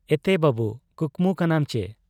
ᱮᱛᱮ ᱵᱟᱹᱵᱩ ᱠᱩᱠᱢᱩ ᱠᱟᱱᱟᱢ ᱪᱤ ?